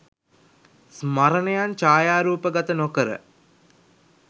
ස්මරණයන් ඡායාරූපගත නොකර